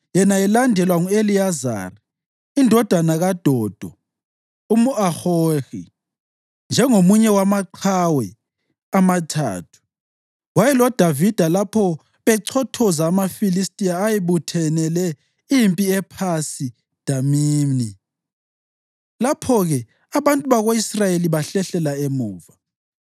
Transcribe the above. Yena elandelwa ngu-Eliyazari indodana kaDodo umʼAhohi. Njengomunye wamaqhawe amathathu, wayeloDavida lapho bechothoza amaFilistiya ayebuthanele impi ePhasi Damimi. Lapho-ke abantu bako-Israyeli bahlehlela emuva,